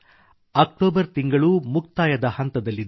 October ತಿಂಗಳು ಮುಕ್ತಾಯದ ಹಂತದಲ್ಲಿದೆ